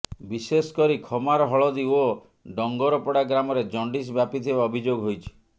ବିଶେଷ କରି ଖମାର ହଳଦୀ ଓ ଡଙ୍ଗରପଡା ଗ୍ରାମରେ ଜଣ୍ଡିସ ବ୍ୟାପିଥିବା ଅଭିଯୋଗ ହୋଇଛି